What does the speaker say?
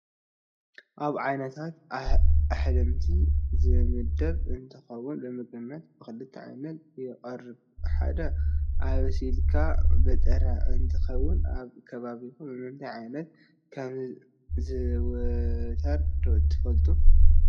ኣብ ዓይነታት ኣሕምልቲ ዝምደብ እንትኾውን ንምግብነት ብክልተ ዓይነት ይቐርብ። ሓደ ኣብሲልኻን ብጥረን እንትኾውን ኣብ ከባቢኹም ብምንታይ ዓይነት ከም ዝዝውተር ዶ ትፈልጡ?